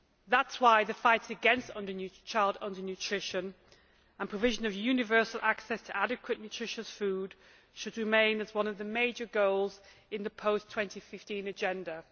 That is why the fight against child undernutrition and the provision of universal access to adequate nutritious food should remain as one of the major goals in the post 2015 agenda.